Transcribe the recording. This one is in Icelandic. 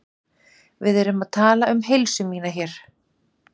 Við erum að tala um heilsu mína hér.